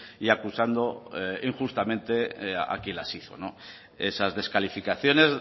y acusando injustamente a quien las hizo esas descalificaciones